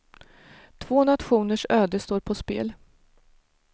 Två nationers öde står på spel.